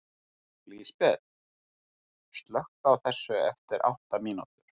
Lísbet, slökktu á þessu eftir átta mínútur.